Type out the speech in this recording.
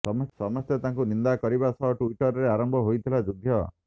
ସମସ୍ତେ ତାଙ୍କୁ ନିନ୍ଦା କରିବା ସହ ଟ୍ୱିଟରରେ ଆରମ୍ଭ ହୋଇଥିଲା ଯୁଦ୍ଧ